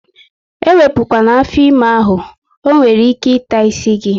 Ewepu kwana afọ ime ahụ! ọ nwere ike taa isi gị